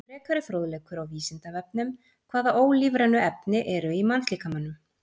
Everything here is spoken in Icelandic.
Frekari fróðleikur á Vísindavefnum: Hvaða ólífrænu efni eru í mannslíkamanum?